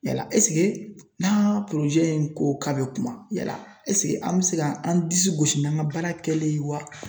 Yala ɛsike n'an ka in ko k'a be kuma yala ɛsike an be se ka an disi gosi n'an ka baara kɛlen ye wa?